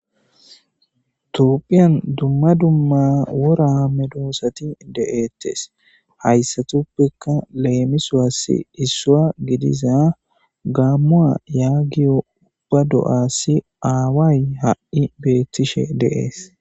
topphiyan dumma dumma woraa medoosati de7ettes hayssatuppekka leemiswaassi issua gidiza gaammu a yaagiyo ubba do7assi aaway ha7i beettishe deees